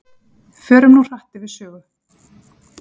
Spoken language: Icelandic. Förum nú hratt yfir sögu.